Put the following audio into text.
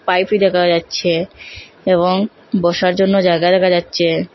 দেখা যাচ্ছে এবং বসার জন্য জায়গা দেখা যাচ্চে।